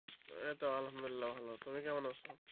এই তো আলহামদুলিল্লাহ ভালো তুমি কেমন আছো?